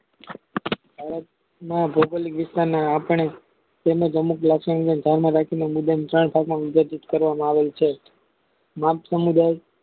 ભૌગોલિક વિસ્તાન અને રાસાયણિક તેમ અનુક લાક્ષણિકતા ધ્યાન માં રાખીને મુંડન ચાર ભાગમાં વિભાજીત કરવામાં આવે છે ગ્રામ સમુદાય